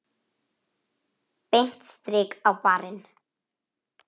Beint strik á barinn.